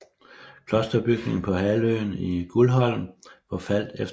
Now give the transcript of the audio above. Klosterbygninger på halvøen i Guldholm forfaldt efterhånden